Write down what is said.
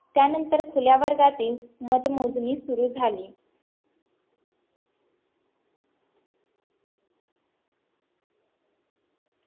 त्यानंतर खुल्या वर्गातील मतमोजणी सुरू झाली